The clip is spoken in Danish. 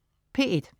P1: